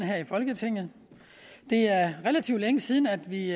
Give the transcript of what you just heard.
her i folketinget det er relativt længe siden at vi i